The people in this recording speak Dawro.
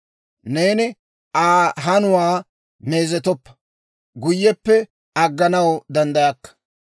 Neeni Aa hanuwaa meezetooppe, guyyeppe agganaw danddayakka.